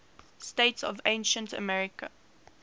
states of ancient africa